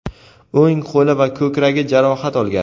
o‘ng qo‘li va ko‘kragi jarohat olgan.